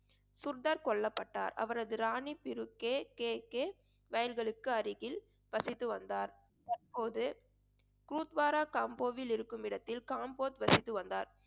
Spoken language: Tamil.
சுர்தர் கொல்லப்பட்டார் அவரது ராணி பிரு கே கே கே வயல்களுக்கு அருகில் வசித்து வந்தார். தற்போது கூத்பாரா காம்போவில் இருக்குமிடத்தில் காம்போத் வசித்து வந்தார்